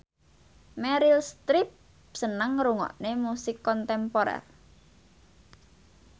Meryl Streep seneng ngrungokne musik kontemporer